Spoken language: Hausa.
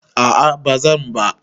A'a bazan ba.